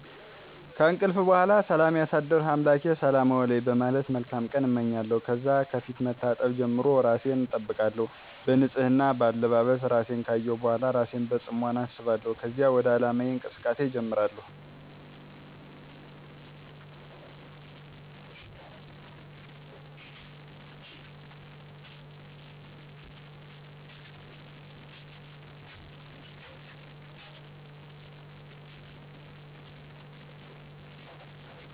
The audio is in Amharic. ከእንቅልፍ በሗላ ሠላም ያሳደርሕ አምላኬ ሰላም አውለኝ በማለት መልካም ቀን አመኛለሁ። ከዛ ከፊት መታጠብ ጀምሮ እራሴን አጠብቃለሁ። በንፅህና፣ በአለባበስ፣ እራሴን ካየሁ በሗላ እራሴን በፅሞና አስባለሁከዚያ ወደ ዓላማየ እንቅስቃሴ እጀምራሐሁ።